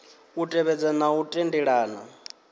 u tevhedza na u tendelana